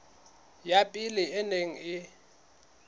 ya pele e neng e